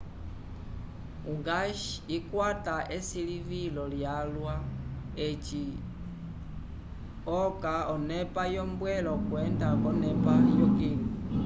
o gás ikwata esilivilo lyalwa eci oca onepa yombwelo okwenda k'onepa yokilu